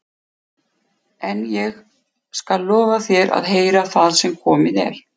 En ég skal lofa þér að heyra það sem komið er.